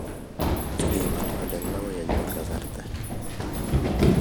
Sigengololyen koi kanyoru kasarta